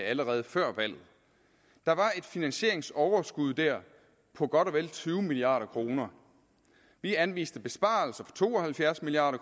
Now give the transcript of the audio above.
allerede før valget der var et finansieringsoverskud dér på godt og vel tyve milliard kroner vi anviste besparelser for to og halvfjerds milliard